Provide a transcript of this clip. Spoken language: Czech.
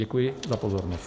Děkuji za pozornost.